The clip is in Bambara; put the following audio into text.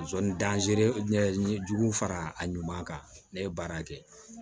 Sɔnni n ye jugu fara a ɲuman kan ne ye baara kɛ